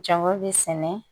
Jama bi sɛnɛ